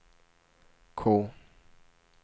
K